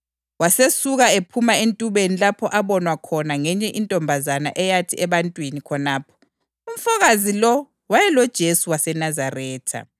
Wasesuka ephuma entubeni lapho abonwa khona ngenye intombazana eyathi ebantwini khonapho, “Umfokazi lo wayeloJesu waseNazaretha.”